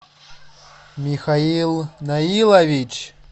михаил наилович